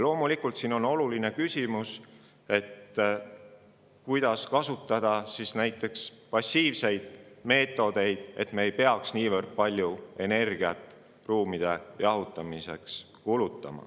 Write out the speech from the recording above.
Loomulikult on oluline küsimus selle juures, kuidas kasutada passiivseid meetodeid, et me ei peaks kulutama niivõrd palju energiat ruumide jahutamiseks.